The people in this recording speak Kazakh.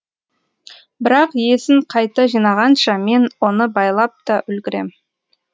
бірақ есін қайта жинағанша мен оны байлап та үлгірем